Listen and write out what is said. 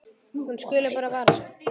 Hún skuli bara vara sig.